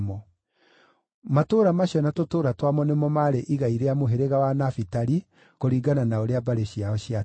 Matũũra macio na tũtũũra twamo nĩmo maarĩ igai rĩa mũhĩrĩga wa Nafitali, kũringana na ũrĩa mbarĩ ciao ciatariĩ.